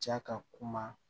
Ja ka kuma